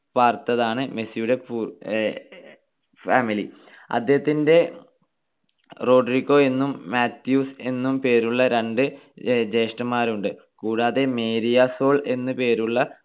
പ്പാർത്തതാണ് മെസ്സിയുടെ പൂ ~ family. അദ്ദേഹത്തിന്റെ റോഡ്രിഗോ എന്നും മാത്യൂസ് എന്നും പേരുള്ള രണ്ട് ജ്യേഷ്ഠന്മാരുണ്ട്. കൂടാതെ മേരിയ സോൾ എന്നു പേരുള്ള